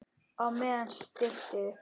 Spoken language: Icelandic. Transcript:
Á meðan stytti upp.